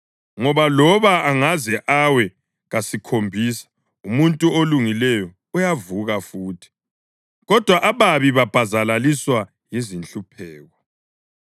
ngoba loba angaze awe kasikhombisa umuntu olungileyo uyavuka futhi, kodwa ababi babhazalaliswa yizinhlupheko.